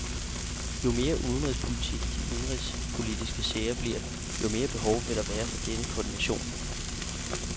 Jo mere udenrigspolitisk de indenrigspolitiske sager bliver, jo mere behov vil der være for denne koordination.